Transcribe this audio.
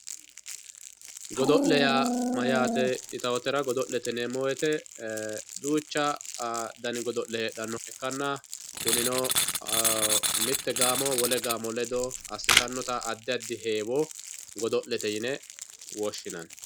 Godo'le yaabmayate yitawotera, godo'lete yineemo woyite duuchu dani godo'le heedhanohha ikkanna kunino mite gaamo wole gaamo ledo asitanota adi adi heewo godo'lete yine woshinanni.